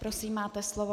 Prosím, máte slovo.